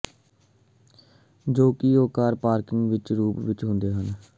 ਜੋ ਕਿ car park ਵਿੱਚ ਦੇ ਰੂਪ ਵਿੱਚ ਹੀ ਹੁੰਦਾ ਹੈ